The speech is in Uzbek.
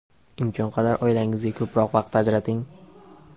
imkon qadar oilangizga ko‘proq vaqt ajrating.